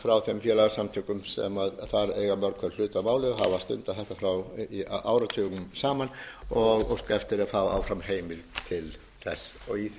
frá þeim félagasamtökum sem þar eiga mörg hver hlut að býli hafa stundað þetta áratugum saman og óska eftir að fá áfram heimild til þess í